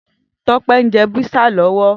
Tope n jè pizza lòwò